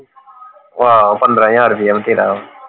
ਆਹ ਪੰਦ੍ਰਹ ਹਜਾਰ ਰੁਪਿਆ ਬਥੇਰਾ